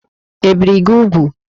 Ebìri gị úgwù?